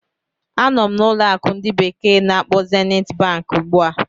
Anọ m na ụlọ akụ ndi bekee na-akpo Zeniti Bank ugbu a.